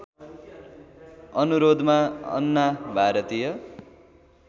अनुरोधमा अन्ना भारतीय